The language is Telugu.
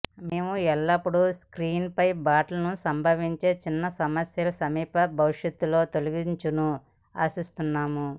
మేము ఎల్లప్పుడూ స్క్రీన్పై బటన్లు సంభవించే చిన్న సమస్యలు సమీప భవిష్యత్తులో తొలగించును ఆశిస్తున్నాము